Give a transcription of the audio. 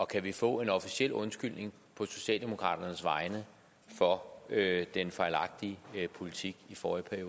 kan vi få en officiel undskyldning på socialdemokraternes vegne for den fejlagtige politik i forrige